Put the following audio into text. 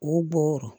U bɔ wɔrɔ